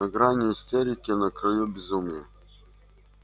на грани истерики на краю безумия